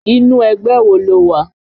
Inú ẹgbẹ́ wo ló wà?